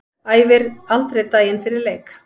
Æfir aldrei daginn fyrir leik.